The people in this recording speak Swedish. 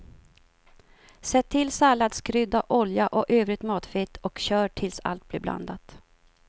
Sätt till salladskrydda, olja och övrigt matfett och kör tills allt blir blandat.